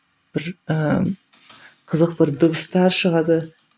бір ііі қызық бір дыбыстар шығады